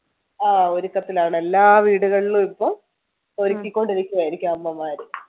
അഹ് ഒരുക്കത്തിലാണ് എല്ലാ വീടുകളിലും ഇപ്പൊ ഒരുക്കികൊണ്ടിരിക്കുകയായിരിക്കുജ്മ അമ്മമാർ